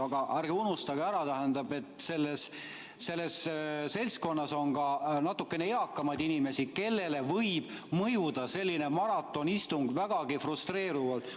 Aga ärge unustage ära, et selles seltskonnas on ka natukene eakamaid inimesi, kellele võib mõjuda selline maratonistung vägagi frustreerivalt.